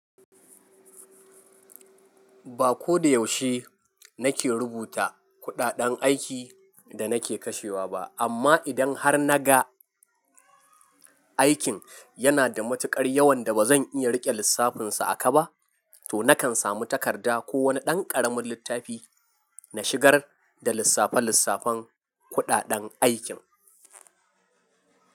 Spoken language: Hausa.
Ba ko da yaushe na ke rubuta kuɗaɗen aiki da na ke kashewa ba, amma idan har na ga aikin yana da matuƙar yawan da ba zan iya riƙe lissafin sa a kaba, to na kan samu takarda ko wani ɗan ƙaramin littafi na shigar da lissafe lissafen kuɗaɗen aikin.